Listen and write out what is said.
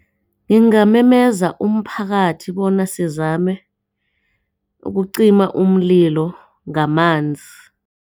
Ngingamemeza umphakathi bona sizame ukucima umlilo ngamanzi.